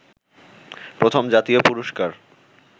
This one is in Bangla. প্রথম জাতীয় পুরষ্কার